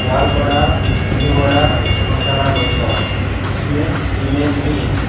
दाल vada menu vada masala dosa जिसमें image भी है।